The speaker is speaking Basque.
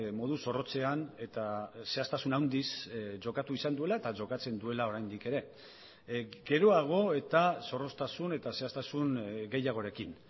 modu zorrotzean eta zehaztasun handiz jokatu izan duela eta jokatzen duela oraindik ere geroago eta zorroztasun eta zehaztasun gehiagorekin